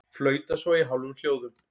Flauta svo í hálfum hljóðum.